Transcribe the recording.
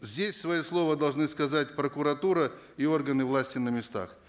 здесь свое слово должны сказать прокуратура и органы власти на местах